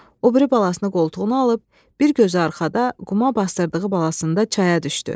O biri balasını qoltuğuna alıb, bir gözü arxada, quma basdırdığı balasında çaya düşdü.